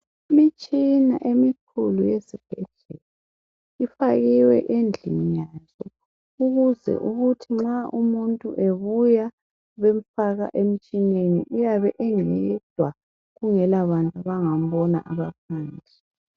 Imitshina emikhulu ezibhedlela ifakiwe endlini yazo ukuze ukuthi nxa umuntu ebuya bemfaka emtshineni uyabe eyedwa kungela bantu abangambona abaphandle.